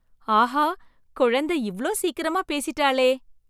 ஆஹா! குழந்தை இவ்ளோ சீக்கிரமா பேசிட்டாளே!